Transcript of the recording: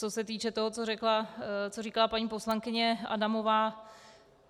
Co se týče toho, co říkala paní poslankyně Adamová.